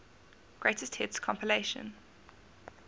greatest hits compilation